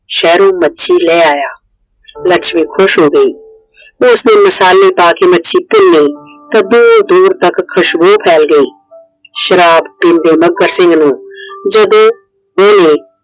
ਸ਼ਹਿਰੋ ਮੱਛੀ ਲੈ ਆਇਆ। ਲੱਛਮੀ ਖੁਸ਼ ਹੋ ਗਈ। ਉਸਨੇ ਮਸਾਲੇ ਪਾਕੇ ਮਾਛੀ ਭੁੰਨੀ ਤਾਂ ਦੂਰ ਦੂਰ ਤੱਕ ਖੁਸ਼ਬੂ ਫੈਲ ਗਈ। ਸ਼ਰਾਬ ਪੀਂਦੇ ਮੱਘਰ ਸਿੰਘ ਨੂੰ ਜਦੋ ਉਹਨੇ